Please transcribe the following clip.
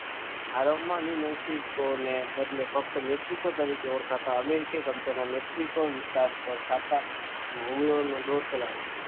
બદલે ફક્ત મેક્સિકો તરીકે ઓળખાતા અમેરિકા મેક્સિકો વિસ્તાર પર છાપવા